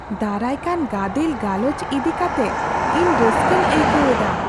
ᱫᱟᱨᱟᱭ ᱠᱟᱱ ᱜᱟᱫᱮᱞ ᱜᱟᱞᱚᱪ ᱤᱫᱤ ᱠᱟᱛᱮ ᱤᱧ ᱨᱟᱹᱥᱠᱟᱹᱧ ᱟᱹᱭᱠᱟᱹᱣ ᱮᱫᱟ ᱾